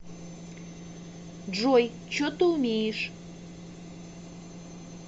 джой че ты умеешь